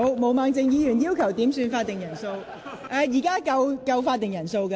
毛孟靜議員求點算法定人數，但本會現在有足夠法定人數。